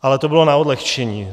Ale to bylo na odlehčení.